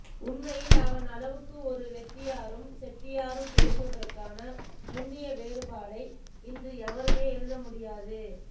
உண்மையில் அவன் அளவுக்கு ஒரு ரெட்டியாரும் செட்டியாரும் பேசுவதற்கான நுண்ணிய வேறுபாடை இன்று எவருமே எழுத முடியாது